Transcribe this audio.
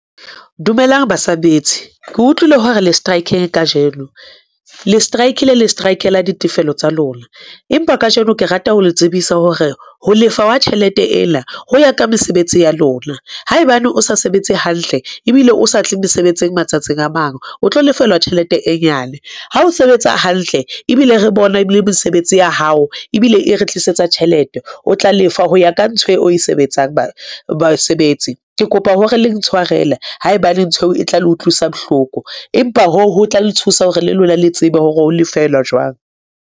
Dumelang basebetsi. Ke utlwile ho re le strike-ile kajeno le strike-ile le strike-la ditefelo tsa lona. Empa kajeno ke rata ho le tsebisa hore ho lefa wa tjhelete ena ho ya ka mesebetsi ya lona. Haebane o sa sebetse hantle ebile o sa tle mosebetsing matsatsing a mang, o tlo lefellwa tjhelete e nyane. Ha o sebetsa hantle ebile re bona ebile mesebetsi ya hao ebile e re tlisetsa tjhelete o tla lefwa ho ya ka ntho o e sebetsang basebetsi. Ke kopa hore le ntshwarele haebaneng nthweo e tla le utlwisa bohloko, empa hoo ho tla le thusa hore le lona le tsebe hore ho lefelwa jwang.